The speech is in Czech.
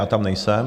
Já tam nejsem.